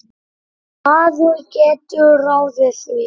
Maður getur ráðið því.